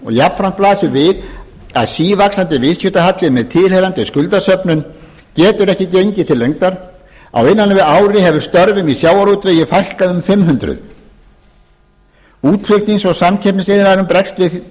jafnframt blasir við að sívaxandi viðskiptahalli með tilheyrandi skuldasöfnun getur ekki gengið til lengdar á innan við ári hefur störfum í sjávarútvegi fækkað um fimm hundruð útflutnings og samkeppnisiðnaðurinn bregst